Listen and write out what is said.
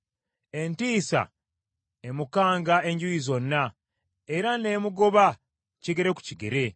Entiisa emukanga enjuuyi zonna era n’emugoba kigere ku kigere.